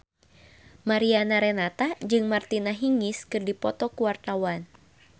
Mariana Renata jeung Martina Hingis keur dipoto ku wartawan